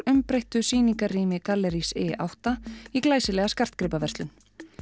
umbreyttu sýningarrými gallerís i átta í glæsilega skartgripaverslun